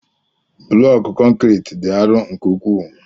Blọku konkriiti dị arọ nke ukwuu.